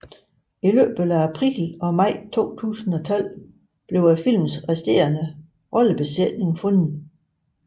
I løbet af april og maj 2012 blev filmens resterende rollebesætning fundet